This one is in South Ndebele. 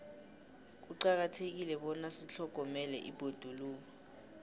kuqakathekile bona sitlhogomele ibhoduluko